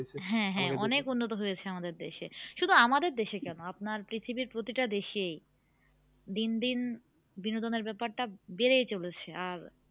হ্যাঁ হ্যাঁ অনেক উন্নত হয়েছে আমাদের দেশে শুধু আমাদের দেশে কেন আপনার পৃথিবীর প্রতিটা দেশেই দিন দিন বিনোদনের ব্যাপারটা বেড়েই চলেছে আর